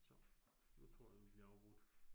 Så, nu tror jeg, vi bliver afbrudt